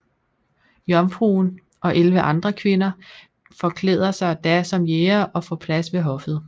Jomfruen og elleve andre kvinder forklæder sig da som jægere og får plads ved hoffet